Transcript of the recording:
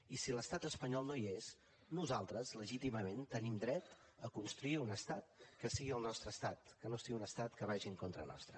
i si l’estat espanyol no hi és nosaltres legítimament tenim dret a construir un estat que sigui el nostre estat que no sigui un estat que vagi en contra nostra